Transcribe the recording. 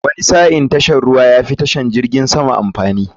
Wani sa'in tashar ruwa yafi tashar jirgin sama amfani.